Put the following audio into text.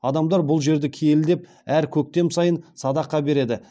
адамдар бұл жерді киелі деп әр көктем сайын садақа береді